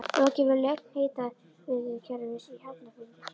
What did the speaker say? Lokið við lögn hitaveitukerfis í Hafnarfirði.